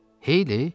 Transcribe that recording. Heyli?